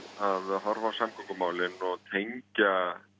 að horfa á samgöngumálin og tengja